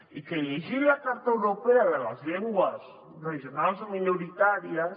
i llegint la carta europea de les llengües regionals o minoritàries